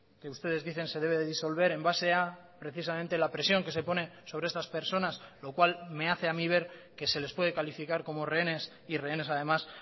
que ustedes dicen se debe disolver en base a precisamente la presión que se pone sobre estas personas lo cual me hace a mí ver que se les puede calificar como rehenes y rehenes además